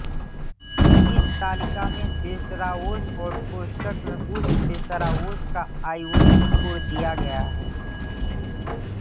इस तालिका में देशराओस और कोष्टक में उस देशराओस का आईओसी कोड दिया गया है